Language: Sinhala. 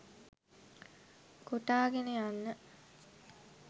කොටාගෙන යන්න